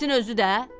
Getsin özü də.